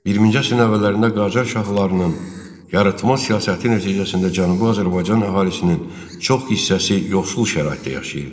20-ci əsrin əvvəllərində Qacar şahlarının yırtma siyasəti nəticəsində Cənubi Azərbaycan əhalisinin çox hissəsi yoxsul şəraitdə yaşayırdı.